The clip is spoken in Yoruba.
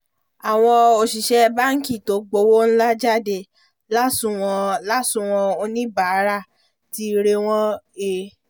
àwọn òṣìṣẹ́ báǹkì tó gbowó ńlá jáde lásùnwọ̀n lásùnwọ̀n oníbàárà ti rẹ́wọ̀n he